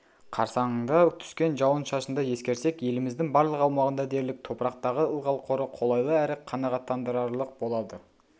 қарсаңында түскен жауын-шашынды ескерсек еліміздің барлық аумағында дерлік топырақтағы ылғал қоры қолайлы әрі қанағаттандырарлық болады